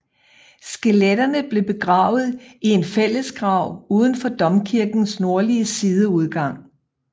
Skeletterne blev begravet i en fællesgrav uden for domkirkens nordlige sideudgang